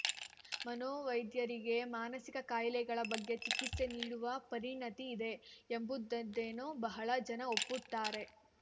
ಮನೋವೈದ್ಯರಿಗೆ ಮಾನಸಿಕ ಕಾಯಿಲೆಗಳ ಬಗ್ಗೆ ಚಿಕಿತ್ಸೆ ನೀಡುವ ಪರಿಣತಿ ಇದೆ ಎಂಬುದನ್ನೇನೋ ಬಹಳ ಜನ ಒಪ್ಪುತ್ತಾರೆ